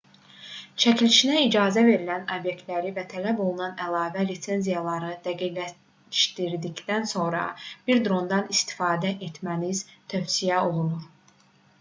çəkilişinə icazə verilən obyektləri və tələb olunan əlavə lisenziyaları dəqiqləşdirdikdən sonra bir drondan istifadə etməniz tövsiyə olunur